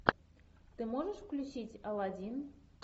ты можешь включить алладин